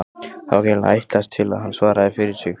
Það var greinilega ætlast til að hann svaraði fyrir sig.